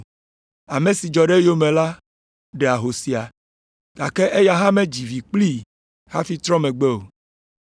Ame si dzɔ ɖe eyome la ɖe ahosia, gake eya hã medzi vi kplii hafi trɔ megbe o.